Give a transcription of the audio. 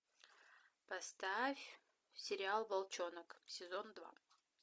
поставь сериал волчонок сезон два